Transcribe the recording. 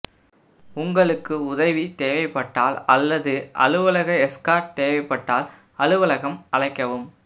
உங்களுக்கு உதவி தேவைப்பட்டால் அல்லது அலுவலக எஸ்கார்ட் தேவைப்பட்டால் அலுவலகம் அழைக்கவும்